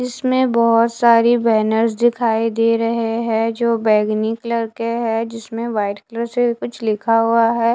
इसमें बहोत सारी बैनर्स दिखाई दे रहे हैं जो बैगनी कलर के हैं जिसमें व्हाइट कलर से कुछ लिखा हुआ है।